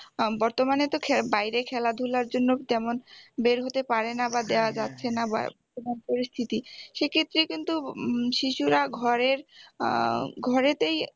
আহ বর্তমানে তো বাইরে খেলাধুলার জন্য তেমন বের হতে পারেনা বা দেওয়া যাচ্ছেনা পরিস্থিতি সেক্ষেত্রে কিন্তু উম শিশুরা ঘরের আহ ঘরেতেই